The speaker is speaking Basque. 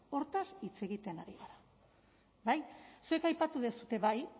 hortaz hitz egiten ari gara bai zuek aipatu duzue bai